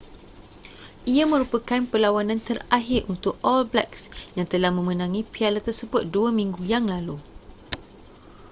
ia merupakan perlawanan terakhir untuk all blacks yang telah memenangi piala tersebut dua minggu yang lalu